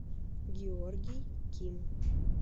георгий ким